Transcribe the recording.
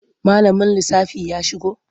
Malamin lissafi ya shigo?